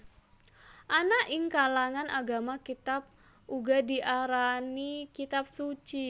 Ana ing kalangan agama kitab uga diarani kitab suci